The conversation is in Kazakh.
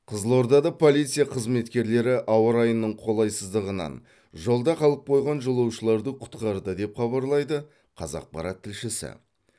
қызылордада полиция қызметкерлері ауа райының қолайсыздығынан жолда қалып қойған жолаушыларды құтқарды деп хабарлайды қазақпарат тілшісі